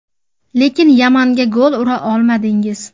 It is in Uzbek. Lekin Yamanga gol ura olmadingiz.